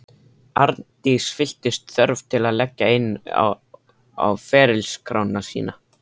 Arndís fylltist þörf til að leggja inn á ferilskrána sína.